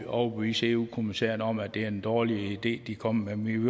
overbevise eu kommissæren om at det er en dårlig idé de kommer med men